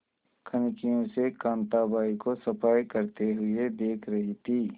कनखियों से कांताबाई को सफाई करते हुए देख रही थी